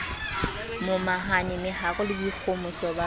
momahane meharo le boikgohomoso ba